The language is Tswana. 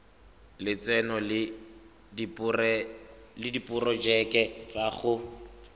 lotseno le diporojeke tsa go